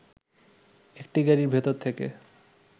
একটি গাড়ির ভেতর থেকে